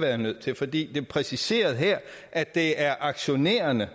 være nødt til for det er præciseret her at det er aktionærerne